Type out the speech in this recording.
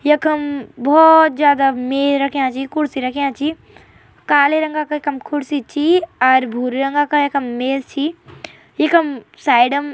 यखम भौत जादा मेज रख्याँ छी कुर्सी रख्याँ छी काले रंगा क यखम कुर्सी छी अर भूरे रंगा क यखम मेज छी इखम साइडम --